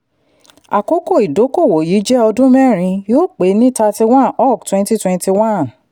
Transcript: àkókò ìdókòwò yìí jẹ́ ọdún mẹ́rin yóò pé ni thirty ok twenty twenty one.